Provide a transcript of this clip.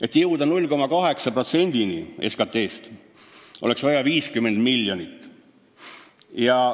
Et jõuda 0,8%-ni SKT-st, oleks vaja 50 miljonit.